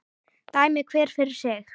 Dæmi hver fyrir sig.